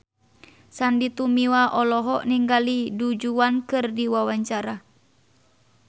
Sandy Tumiwa olohok ningali Du Juan keur diwawancara